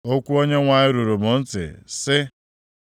Okwu Onyenwe anyị ruru m ntị, sị,